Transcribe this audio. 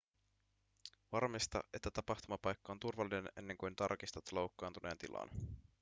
varmista että tapahtumapaikka on turvallinen ennen kuin tarkistat loukkaantuneen tilan